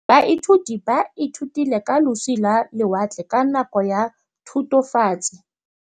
Baithuti ba ithutile ka losi lwa lewatle ka nako ya Thutafatshe.